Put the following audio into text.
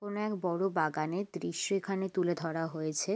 কোনো এক বড় বাগানের দৃশ্য এখানে তুলে ধরা হয়েছে।